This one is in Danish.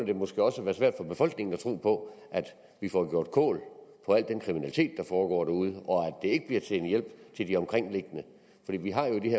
det måske også at være svært for befolkningen at tro på at vi får gjort kål på al den kriminalitet der foregår derude og at ikke bliver til en hjælp til de omkringliggende vi har jo i